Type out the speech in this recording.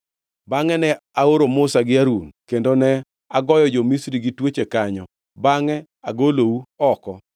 “ ‘Bangʼe ne aoro Musa gi Harun, kendo ne agoyo jo-Misri gi tuoche kanyo, bangʼe agolou oko.